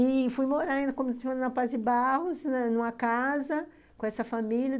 E fui morar na Paz de Barros, numa casa com essa família.